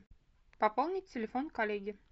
пополнить телефон коллеге